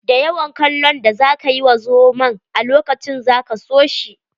Da yawan kallon da za ka yi wa zomon a lokacin za ka so shi.